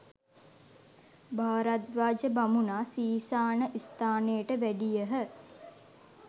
භාරද්වාජ බමුණා සීසාන ස්ථානයට වැඩියහ.